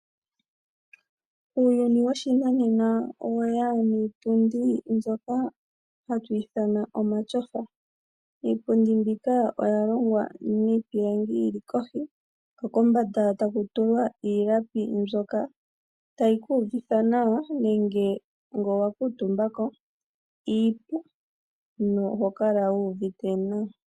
Uuyuni woshinanena oweya niipundi mbyoka hatu ithana omashofa. Iipundi mbika oya longwa miipilangi yili kohi ko kombanda taku tulwa iilapi mbyoka tayi kuuvitha nawa, nenge nge owa kuutumba ko iipu no hokala wuuvite nawa.